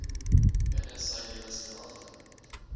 binne sy lewensverwagting